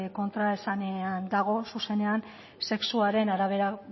kontraesanean dago zuzenean sexuaren arabera